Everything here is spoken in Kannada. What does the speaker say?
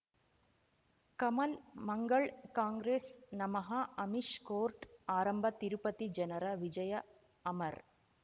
ಕಮಲ್ ಮಂಗಳ್ ಕಾಂಗ್ರೆಸ್ ನಮಃ ಅಮಿಷ್ ಕೋರ್ಟ್ ಆರಂಭ ತಿರುಪತಿ ಜನರ ವಿಜಯ ಅಮರ್